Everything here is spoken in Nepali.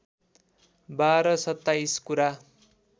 बाह्र सत्ताइस कुरा